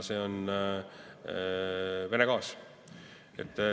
See on Vene gaas.